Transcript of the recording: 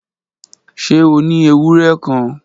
Ṣe o ni ewurẹ kan?